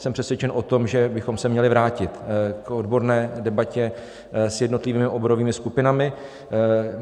Jsem přesvědčen o tom, že bychom se měli vrátit k odborné debatě s jednotlivými oborovými skupinami.